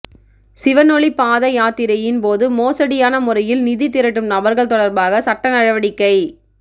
சிவனொளிபாத யாத்திரையின் போது மோசடியான முறையில் நிதி திரட்டும் நபர்கள் தொடர்பாக சட்ட நடவடிக்கை